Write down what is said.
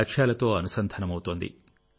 లక్ష్యాలతో అనుసంధానమవుతోంది